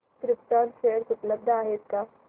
krypton share उपलब्ध आहेत का